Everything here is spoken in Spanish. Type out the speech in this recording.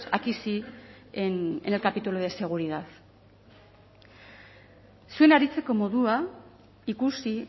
aquí sí en el capítulo de seguridad zuen aritzeko modua ikusi